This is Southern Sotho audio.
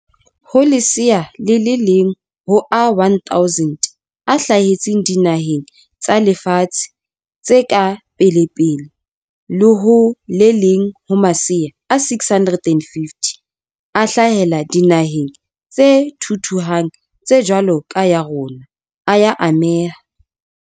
Ho lesea le leng ho a 1 000 a hla hetseng dinaheng tsa lefatshe tse ka pelepele le ho le leng ho masea a 650 a hlahela dinaheng tse thuthuhang tse jwalo ka ya rona, a ya ameha.